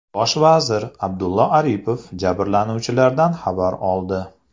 Bosh vazir Abdulla Aripov jabrlanuvchilardan xabar oldi.